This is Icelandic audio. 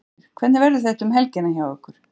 Ásgeir, hvernig verður þetta um helgina hjá ykkur?